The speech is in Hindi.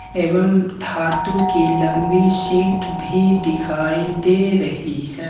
एवं धातु की लंबी सीट भी दिखाई दे रही है।